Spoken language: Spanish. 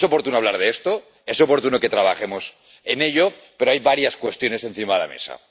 Es oportuno hablar de esto, es oportuno que trabajemos en ello, pero hay varias cuestiones encima de la mesa.